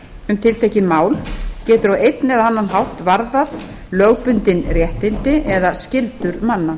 um tiltekið mál getur á einn eða annan hátt varðað lögbundin réttindi eða skyldur manna